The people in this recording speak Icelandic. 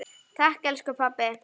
Takk elsku pabbi.